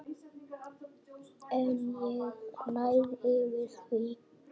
En ég ræð yfir því.